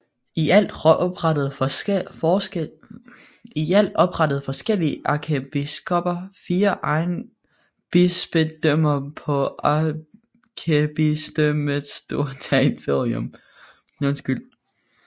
I alt oprettede forskellige ærkebiskopper fire egenbispedømmer på ærkebispedømmets store territorium